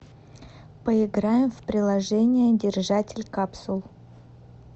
поиграем в приложение держатель капсул